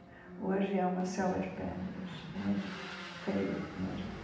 Hoje é uma selva de pedras, muito feio mesmo.